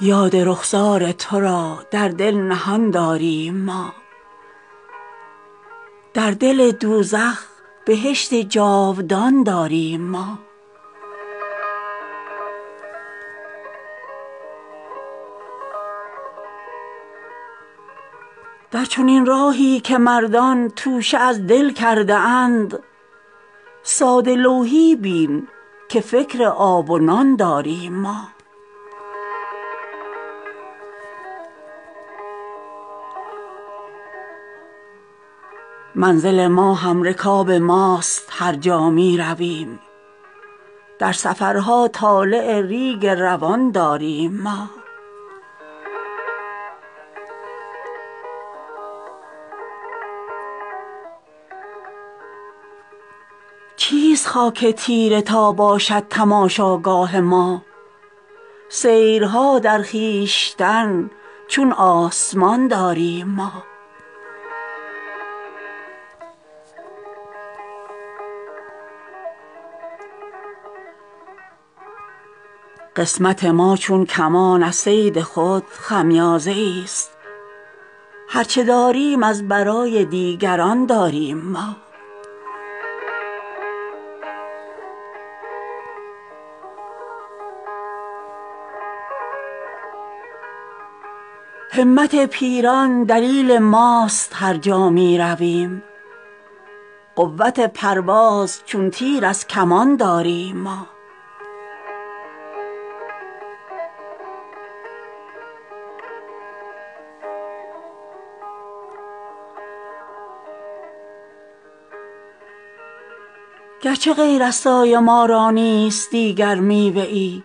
یاد رخسار ترا در دل نهان داریم ما در دل دوزخ بهشت جاودان داریم ما در چنین راهی که مردان توشه از دل کرده اند ساده لوحی بین که فکر آب و نان داریم ما منزل ما همرکاب ماست هر جا می رویم در سفرها طالع ریگ روان داریم ما همچنان در قطع راه عشق کندی می کنیم گرچه از سنگ ملامت صد فسان داریم ما چیست خاک تیره تا باشد تماشاگاه ما سیرها در خویشتن چون آسمان داریم ما قسمت ماچون کمان از صید خود خمیازه ای است هر چه داریم از برای دیگران داریم ما در بهار ما خزان ها چون حنا پوشیده است گرچه در ظاهر بهار بی خزان داریم ما همت پیران دلیل ماست هر جا می رویم قوت پرواز چون تیر از کمان داریم ما گرچه می دانیم آخر سر به سر افسانه ایم پنبه ها در گوش از خواب گران داریم ما نیست جان سخت ما از سختی دوران ملول زندگانی چون هما از استخوان داریم ما گرچه غیر از سایه ما را نیست دیگر میوه ای